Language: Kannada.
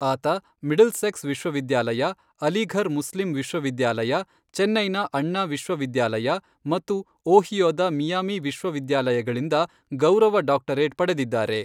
ಆತ ಮಿಡ್ಲ್ಸೆಕ್ಸ್ ವಿಶ್ವವಿದ್ಯಾಲಯ, ಅಲಿಘರ್ ಮುಸ್ಲಿಂ ವಿಶ್ವವಿದ್ಯಾಲಯ, ಚೆನ್ನೈನ ಅಣ್ಣಾ ವಿಶ್ವವಿದ್ಯಾಲಯ ಮತ್ತು ಓಹಿಯೊದ ಮಿಯಾಮಿ ವಿಶ್ವವಿದ್ಯಾಲಯಗಳಿಂದ ಗೌರವ ಡಾಕ್ಟರೇಟ್ ಪಡೆದಿದ್ದಾರೆ.